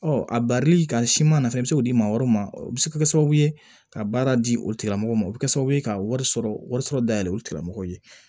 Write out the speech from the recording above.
Ɔ a barili ka siman nɔfɛ i bɛ se k'o di maa wɛrɛ ma o bɛ se ka kɛ sababu ye ka baara di o tigilamɔgɔw ma o bɛ kɛ sababu ye ka wari sɔrɔ wari sɔrɔ dayɛlɛ o tigilamɔgɔ ye